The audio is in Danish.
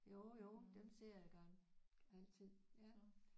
Jo jo dem ser jeg gang altid